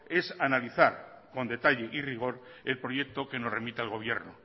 es analizar con detalle y rigor el proyecto que nos remita el gobierno